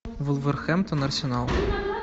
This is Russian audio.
вулверхэмптон арсенал